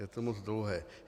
Je to moc dlouhé.